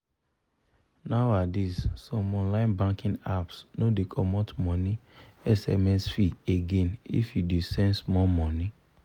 nowadays some online banking apps no dey comot money sms fee again if you dey send small money